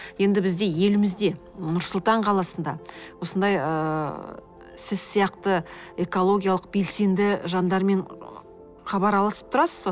енді бізде елімізде нұр сұлтан қаласында осындай ыыы сіз сияқты экологиялық белсенді жандармен хабар алысып тұрасыз ба